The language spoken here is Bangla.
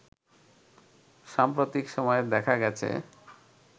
সাম্প্রতিক সময়ে দেখা গেছে